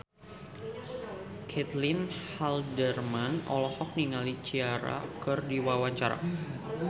Caitlin Halderman olohok ningali Ciara keur diwawancara